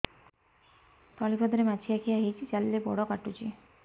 ତଳିପାଦରେ ମାଛିଆ ଖିଆ ହେଇଚି ଚାଲିଲେ ବଡ଼ କାଟୁଚି